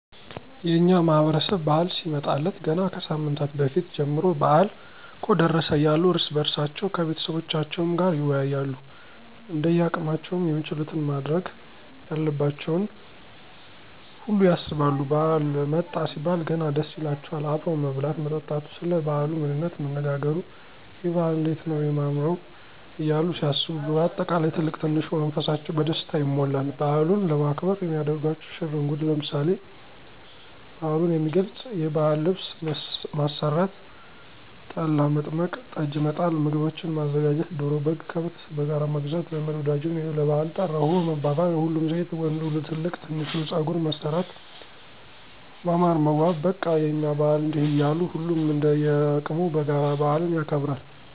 የእኛ ማህበረሰብ በዓል ሲመጣለት ገና ከሳምንት በፊት ጀምሮ በአል እኮ ደረሰ እያሉ እርስ በእርሳቸዉ ከቤተሰቦቻቸዉም ጋር ይወያያሉ እንደያቅማቸዉም የሚችሉትን ማድረግ ያለባቸውን ሁሉ ያሰባሉ ባዓል መጣ ሲባል ገና ደስ ይላቸዋል አብሮ መብላት መጠጣቱ፣ ሰለ ባዓሉ ምንነት መነጋገሩ፣ የበዓል እንዴት ነዉ የማምረዉ እያሉ ሲያስቡ በአጠቃላይ ትልቅ ትንሹ መንፈሳቸዉ በደስታ ይሞላል። በዓሉንም ለማክበር የሚያደርጓቸዉ ሽር እንጉድ ለምሳሌ፦ በዓሉን የሚገልፅ የባዕል ልብስ ማሰራት፣ ጠላ፣ መጥመቅ፣ ጠጅ፣ መጣል፣ ምግቦችን ማዘጋጀት፣ ዶሮ፣ በግ፣ ከብት በጋራ መግዛት ዘመድ ወዳጁን ለባዕል ጠራሁህ መባባል፣ ሁሉም ሴት ወንዱ ትልቅ ትንሹ ፀጉር መሠራት ማማር መዋብ በቃ የእኛ በዓል እንዲህ እያሉ ሁሉም እንደየቅሙ በጋራ በአልን ያከብራል።